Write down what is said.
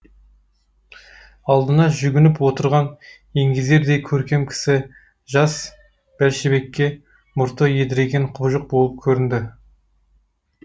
алдына жүгініп отырған еңгезердей көркем кісі жас бәлшебекке мұрты едірейген құбыжық болып көрінді